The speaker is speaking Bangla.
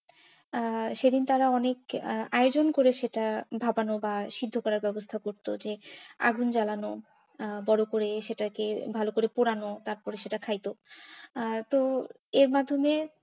আহ সেদিন তারা অনেক আহ আয়োজন করে সেটা ভাপানো বা সিদ্ধ করার ব্যবস্থা করতো যে আগুন জ্বালানো আহ আর তার উপরে সেটাকে ভালো করে পুরানো তারপরে সেইটা খাইতো আর তো, এর মাধ্যমে।